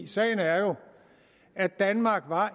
sagen er jo at danmark